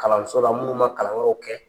Kalanso la munnu ma kalan wɛrɛw kɛ